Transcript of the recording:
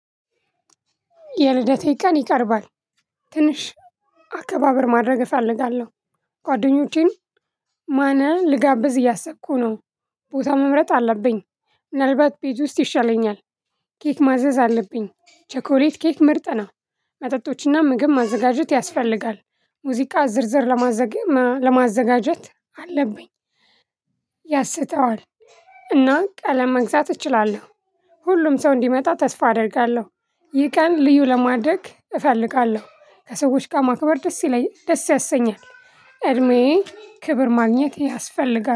የልደቴ ቀን ይቀርባል ትንሽ አከባበር ማድረግ እፈልጋለሁ። ጓደኞቼም ማንን ልጋብዝ እያሰቅኩ ነው። ቦታ መምረጥ አለብኝ። ምናልባት ቤት ውስጥ ይሻለኛል። ኬክ ማዘዝ አለብኝ ቸኮሌት ኬክ ምርጥ ነው። መጠጦችና ምግብ ማዘጋጀት ያስፈልጋል። ሙዚቃ ዝርዝር ለማዘጋጀት አለብኝ። ያስተዋል እና ቀለም መግዛት እችላለሁ። ሁሉም ሰው እንዲመጣ ተስፋ አደርጋለሁ። ይህ ቀን ልዩ ለማድረግ እፈልጋለሁ ከሰዎች ጋር ማክበር ደስ ይለኝ ደስ ያሰኛል። እድሜዬ ክብር ማግኘት ያስፈልጋል